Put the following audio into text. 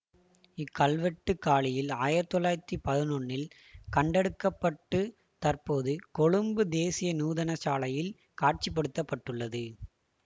இக்கல்வெட்டு காலியில் ஆயிரத்தி தொள்ளாயிரத்தி பதினொன்னில் கண்டெடுக்கப்பட்டு தற்போது கொழும்பு தேசிய நூதனசாலையில் காட்சிப்படுத்தப்பட்டுள்ளது